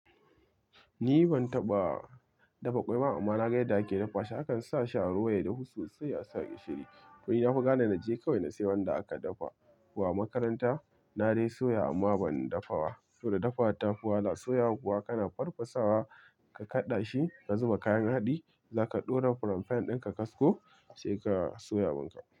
Ni ban taɓa dafa ƙwai ba amma na ga yadda ake dafa shi. Akan sa shi a ruwa yadahu sosai a sa gishiri. To ni nafi gane na je kawai na sayi wanda aka dafa ko a makaranta. Na dai soya amma ban dafawa. Saboda dafawa ta fi wahala. Soyawa kuwa kana farfasawa ka kaɗa shi ka zuba kayan haɗi. Za ka ɗora furen fan ɗin ka kasko sai ka soya abin ka.